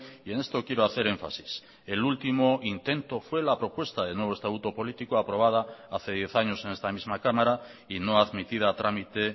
y en esto quiero hacer énfasis el último intento fue la propuesta de nuevo estatuto político aprobada hace diez años en esta misma cámara y no admitida a trámite